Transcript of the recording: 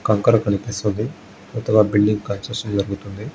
కంకర కనిపిస్తుంది. కొత్తగా బిల్డింగ్ కన్స్ట్రక్షన్ జరుగుతుంది.